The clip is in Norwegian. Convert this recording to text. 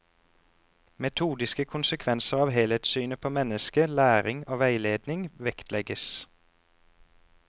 Metodiske konsekvenser av helhetssynet på mennesket, læring og veiledning vektlegges.